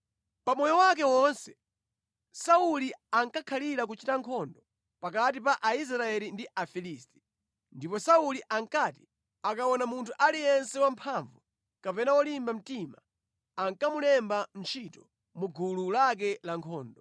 Pa moyo wake wonse, Sauli ankakhalira kuchita nkhondo pakati pa Israeli ndi Afilisti. Ndipo Sauli ankati akaona munthu aliyense wamphamvu kapena wolimba mtima ankamulemba ntchito mu gulu lake lankhondo.